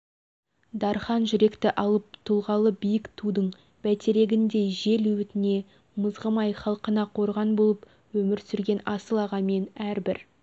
дархан жүректі алып тұлғалы биік тудың бәйтерегіндей жел өтіне мызғымай халқына қорған болып өмір сүрген асыл ағамен әрбір